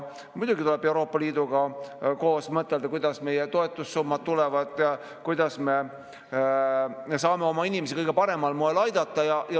Muidugi tuleb Euroopa Liiduga koos mõtelda, kuidas meie toetussummad tulevad ja kuidas me saame oma inimesi kõige paremal moel aidata.